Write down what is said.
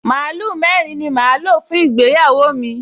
Màlúù mẹ́rin ni màá lò fún ìgbéyàwó mi